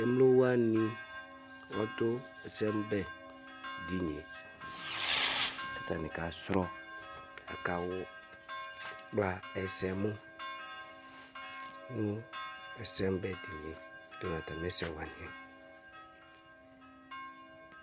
emlo wʋani ɔdu ɛsɛmu nɛ dinie, ku ata ni ka srɔ, aka wu, kpla ɛsɛ mu nu ɛsɛmu bɛ dinie ata nu ata mi ɛsɛ wʋani yɛ